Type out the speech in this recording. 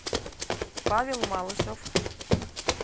павел малышев